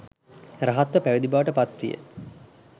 රහත්ව පැවිදි බවට පත් විය.